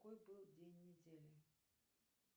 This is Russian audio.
какой был день недели